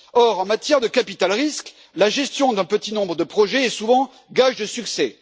Or, en matière de capital-risque, la gestion d'un petit nombre de projets est souvent gage de succès.